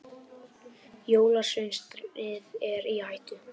Jólasveinasetrið er í hættu.